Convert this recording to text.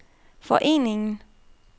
foreningen